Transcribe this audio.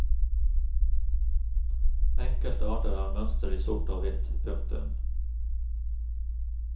Enkelte arter har mønster i sort og hvitt. punktum